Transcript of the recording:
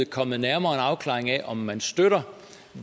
kommet nærmere en afklaring af om man støtter